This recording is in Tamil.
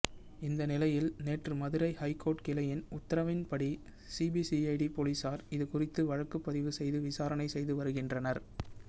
இந்த நிலையில் நேற்று மதுரை ஐகோர்ட் கிளையின் உத்தரவின்படி சிபிசிஐடி போலீசார் இதுகுறித்து வழக்குப்பதிவு செய்து விசாரணை செய்து வருகின்றனர்